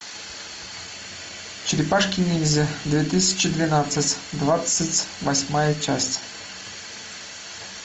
черепашки ниндзя две тысячи двенадцать двадцать восьмая часть